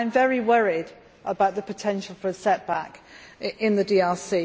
I am very worried about the potential for a setback in the DRC.